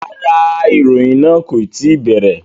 Rárá, ìròyìn náà kò tí ì bẹ̀rẹ̀